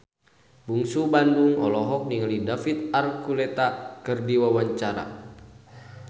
Bungsu Bandung olohok ningali David Archuletta keur diwawancara